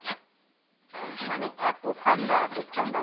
মানে এতো ঠাণ্ডা এতো ঠাণ্ডা